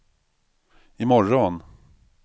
imorgon